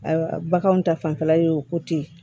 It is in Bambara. Ayiwa baganw ta fanfɛla y'o ko ten